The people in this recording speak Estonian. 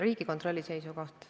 Riigikontrolli seisukoht.